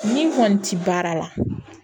Ni n kɔni tɛ baara la